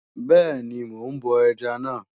Bẹ́ẹ̀ni, mò ń bọ ẹja náà.